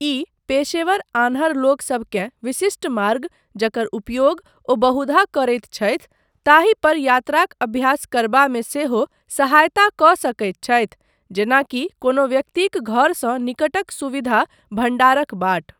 ई पेशेवर आन्हर लोकसबकेँ विशिष्ट मार्ग, जकर उपयोग ओ बहुधा करैत छथि, ताहि पर यात्राक अभ्यास करबामे सेहो सहायता कऽ सकैत छथि, जेना कि कोनो व्यक्तिक घरसँ निकटक सुविधा भण्डारक बाट।